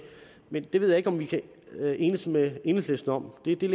ved det ved jeg ikke om vi kan enes med enhedslisten om det er